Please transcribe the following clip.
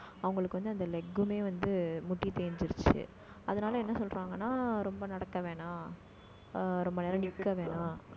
அவங்களுக்கு வந்து, அந்த leg மே வந்து, முட்டி தேஞ்சுருச்சு. அதனால என்ன சொல்றாங்கன்னா ரொம்ப நடக்க வேணாம். ஆஹ் ரொம்ப நேரம் நிக்க வேணாம்